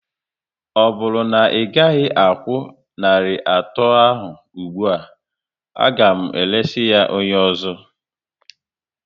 Ọ bụrụ na ị gaghị akwụ narị atọ ahụ ụgbụa, a ga m eresị ya onye ọzọ